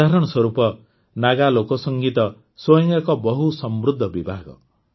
ଉଦାହରଣ ସ୍ୱରୂପ ନାଗା ଲୋକସଙ୍ଗୀତ ସ୍ୱୟଂ ଏକ ବହୁ ସମୃଦ୍ଧ ବିଭାଗ